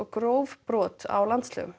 gróft brot á landslögum